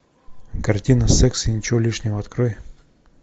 картина секс и ничего лишнего открой